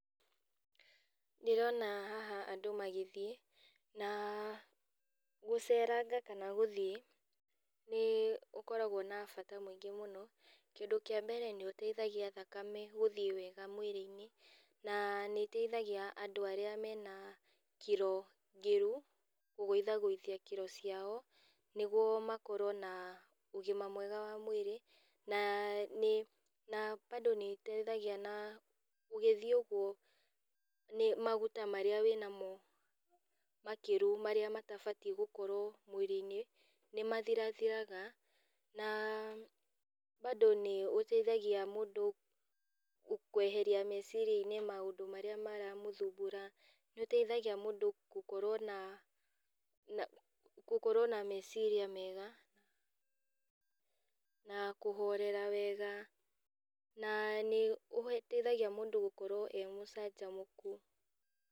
Ndĩrona haha andũ magĩthiĩ, na gũceranga kana gũthiĩ, nĩ gũkoragwo na bata mũingĩ mũno, kĩndũ kĩa mbere nĩũteithagia thakame gũthiĩ wega mwĩrĩinĩ, na nĩ ĩteithagia andũ arĩa mena kiro ngĩru, kũgũithagũithia kiro ciao, nĩguo makorwo na ũgima mwega wa mwĩrĩ, na nĩ na bado nĩteithagia na ũgĩthiĩ ũguo nĩ maguta marĩa wĩnamo makĩru marĩa matabatie gũkorwo mwĩrĩinĩ, nĩmathirathiraga, na bado nĩ ũteithagia mũndũ kweheria meciriani maũndũ marĩa maramũthumbura, nĩũteithagia mũndũ gũkorwo na na gũkorwo na meciria mega, na kũhorera wega. Na nĩ kũteithagia mũndũ e mũcanjamũku.